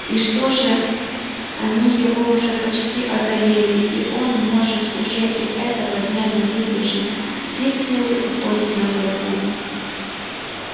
и что же они его уже почти одолели и он может уже и этого дня не выдержит все силы уходят на борьбу